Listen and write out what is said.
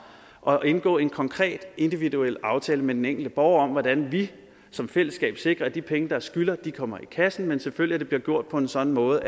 og indgå en konkret individuel aftale med den enkelte borger om hvordan vi som fællesskab sikrer at de penge der skyldes kommer i kassen men selvfølgelig bliver gjort på en sådan måde